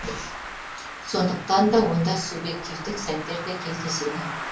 сондықтан да онда субъективтік сәттер де кездеседі